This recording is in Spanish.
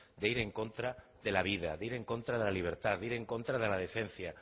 de ir en contra de la vida de ir en contra de la libertad de ir en contra de la decencia